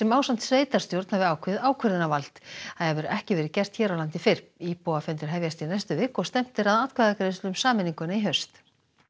ásamt sveitarstjórn hafi ákveðið ákvörðunarvald það hefur ekki verið gert hér á landi fyrr íbúafundir hefjast í næstu viku og stefnt er að atkvæðagreiðslu um sameininguna í haust